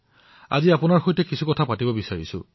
মই আজি আপোনাৰ সৈতে কিছু কথা পাতিবলৈ বিচাৰিছো